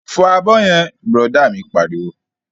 Fọ abọ́ yẹn! Bùrọ̀dá mi pariwo